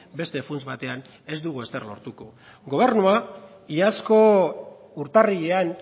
beste funts batean ez dugu ezer lortuko gobernua iazko urtarrilean